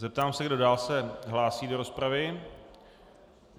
Zeptám se, kdo dál se hlásí do rozpravy.